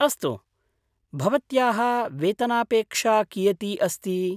अस्तु, भवत्याः वेतनापेक्षा कियती अस्ति?